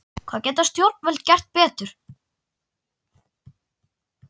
Hvað geta stjórnvöld gert betur?